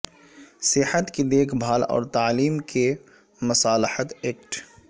صحت کی دیکھ بھال اور تعلیم کے مصالحت ایکٹ